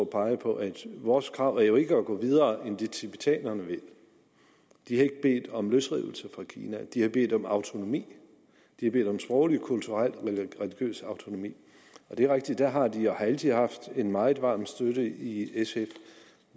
peger på at vores krav jo ikke er at gå videre end det tibetanerne vil de har ikke bedt om løsrivelse fra kina de har bedt om autonomi de har bedt om sproglig kulturel og religiøs autonomi det er rigtigt at der har de og har altid haft en meget varmt støtte i sf